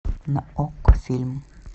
на окко фильм